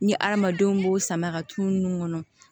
Ni adamadenw b'o sama ka tunun kɔnɔ